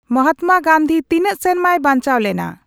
ᱢᱟᱦᱟᱛᱢᱟ ᱜᱟᱱᱫᱷᱤ ᱛᱤᱱᱟᱹᱜ ᱥᱮᱨᱢᱟᱭ ᱵᱟᱧᱪᱟᱣ ᱞᱮᱱᱟ